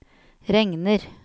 regner